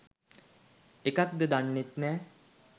එකක් ද දන්නෙත් නෑ.